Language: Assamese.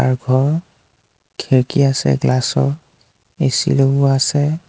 আৰু ঘৰ খিৰিকী আছে গ্লাচৰ এ_চি লগোৱা আছে।